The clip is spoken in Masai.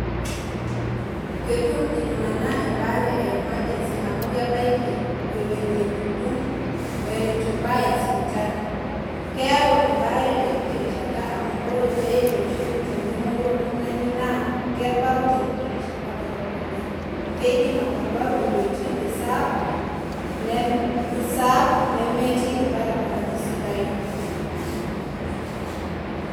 Ketum iltung'ana embaare e emergency amu kibaki ewuen eitu ibaya sipitali. Keyau embaare tenkiti rishata amu ore pee ioshoki tenemouyu oltung'ani naa kebau tenkiti rishata dorop oleng'. Keidim etabau inwuetin reserve anaa remote nemetii ilbaribarani sidain.